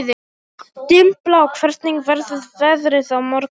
Dimmblá, hvernig verður veðrið á morgun?